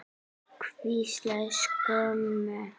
Hvílík skömm!